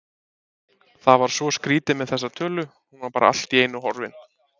Það var svo skrýtið með þessa tölu, hún var bara allt í einu horfin